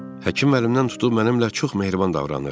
Həkim məndən tutub mənimlə çox mehriban davranır.